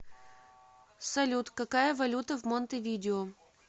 салют какая валюта в монтевидео